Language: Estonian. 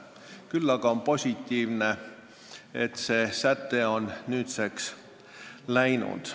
Küll aga on positiivne, et see säte on nüüdseks läinud.